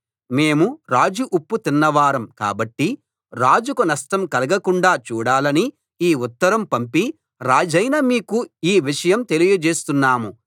మేము రాజు ఉప్పు తిన్నవారం కాబట్టి రాజుకు నష్టం కలగకుండా చూడాలని ఈ ఉత్తరం పంపి రాజైన మీకు ఈ విషయం తెలియచేస్తున్నాం